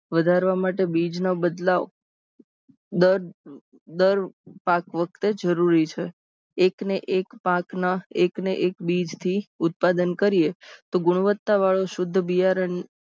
વધારવા માટે બીજ માં બદલાવ દર દર પાક વખતે જરૂરી છે. એકના એક પાકને એકના એક બીજથી ઉત્પાદન કરીએ તો ગુણવત્તાવાળું શુધ્ધ બિયારણ